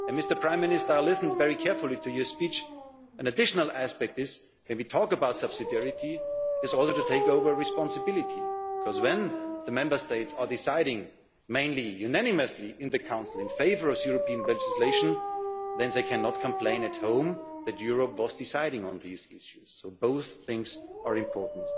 regions. Mr Prime Minister, I listened very carefully to your speech. An additional aspect is if we talk about subsidiarity, it is in order to take over responsibility, because when the Member States are deciding mainly unanimously in the Council in favour of European legislation, then they cannot complain at home that Europe was deciding on these issues. So both things are